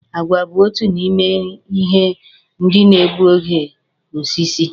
Àgwà bu otu n'ime ihe ndị na-egbu oge osisi